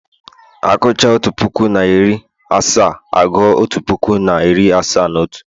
Agucha otu puku na iri asaa, aguo otu puku na iri asaa na otu